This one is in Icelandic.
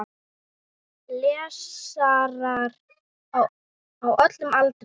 Lesarar á öllum aldri.